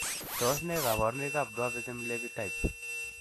Tos nee koborunoikab Dwarfism Levi type?